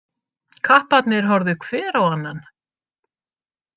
Kapparnir horfðu hver á annan.